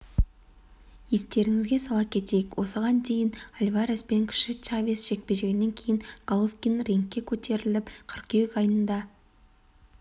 естеріңізге сала кетейік осыған дейін альварес пен кіші чавес жекпе-жегінен кейін головкин рингке көтеріліп қыркүйек айында